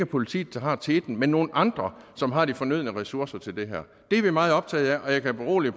politiet der har teten men nogle andre som har de fornødne ressourcer til det her det er vi meget optaget af og jeg kan berolige